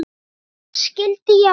Mikið skildi ég hann vel.